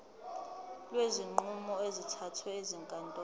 kwezinqumo ezithathwe ezinkantolo